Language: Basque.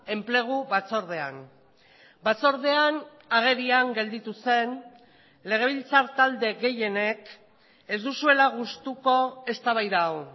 enplegu batzordean batzordean agerian gelditu zen legebiltzar talde gehienek ez duzuela gustuko eztabaida hau